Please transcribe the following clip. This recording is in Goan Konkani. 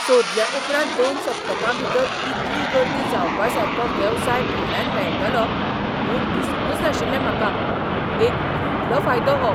सोदल्या उपरांत दोन सप्तकां भितर इतली गर्दी जावपासारको वेवसाय भाड्यान मेळटलो म्हूण दिसूंकच नाशिल्लें म्हाका एक व्हडलो फायदो हो.